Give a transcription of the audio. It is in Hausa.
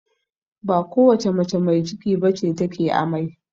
Ba kowace mace mai ciki bace ta ke amai